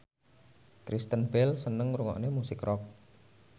Kristen Bell seneng ngrungokne musik rock